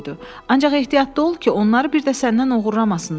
Ancaq ehtiyatlı ol ki, onları bir də səndən oğurlamasınlar.